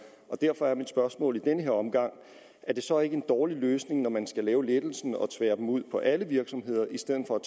derfor er mit spørgsmål i den her omgang er det så ikke en dårlig løsning når man skal lave lettelsen at tvære den ud på alle virksomheder i stedet for at